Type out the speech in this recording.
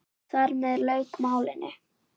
Þar með lauk málinu.